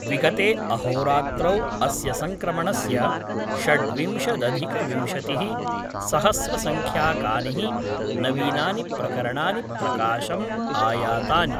विगते अहोरात्रौ अस्य संक्रमणस्य षड्विंशदधिकविंशति सहस्रसंख्यकानिः नवीनानि प्रकरणानि प्रकाशम् आयातानि।